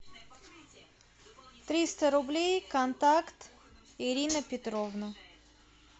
триста рублей контакт ирина петровна